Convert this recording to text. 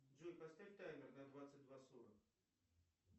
джой поставь таймер на двадцать два сорок